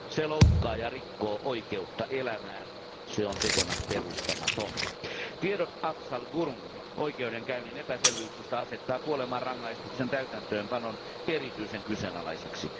Se loukkaa ja rikkoo oikeutta elämään se on tekona peruuttamaton. Tiedot Afzal Gurun oikeudenkäynnin epäselvyyksistä asettaa kuolemanrangaistuksen täytäntöönpanon erityisen kyseenalaiseksi.